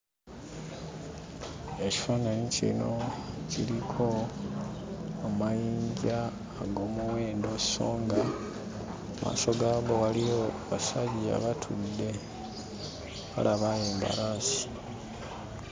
Ekifaananyi kino kiriko amayinja ag'omuwendo so nga mu maaso gaago waliyo basajja batudde, balaba mbalaasi.